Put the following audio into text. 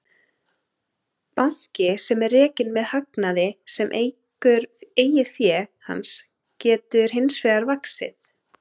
Banki sem er rekinn með hagnaði sem eykur eigin fé hans getur hins vegar vaxið.